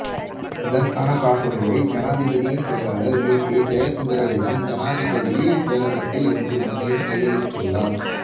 இதற்கான காசோலையை ஜனாதிபதியின் செயலாளர் பிபீ ஜயசுந்தரவிடம் ஜனாதிபதி செயலகத்தில் இன்று மதியம் கையளித்துள்ளார்